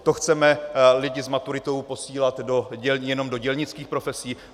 To chceme lidi s maturitou posílat jenom do dělnických profesí?